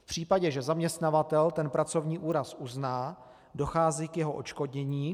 V případě, že zaměstnavatel ten pracovní úraz uzná, dochází k jeho odškodnění.